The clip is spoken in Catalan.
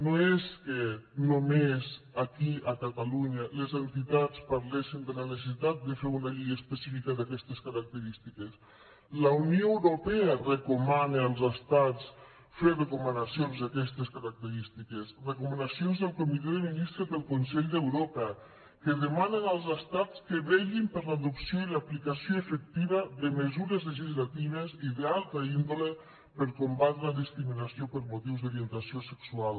no és que només aquí a catalunya les entitats parlessin de la necessitat de fer una llei específica d’aquestes característiques la unió europea recomana als estats fer recomanacions d’aquestes característiques recomanacions del comitè de ministres del consell d’europa que demanen als estats que vetllin per l’adopció i l’aplicació efectiva de mesures legislatives i d’altra índole per combatre la discriminació per motius d’orientació sexual